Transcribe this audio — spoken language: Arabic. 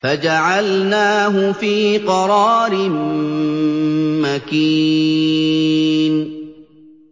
فَجَعَلْنَاهُ فِي قَرَارٍ مَّكِينٍ